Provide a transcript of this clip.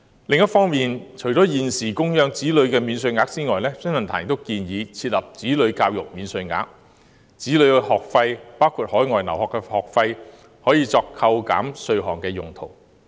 另一方面，除了現有的供養子女免稅額外，新世紀論壇亦建議設立"子女教育免稅額"，讓子女的學費包括海外留學的學費可作扣稅用途。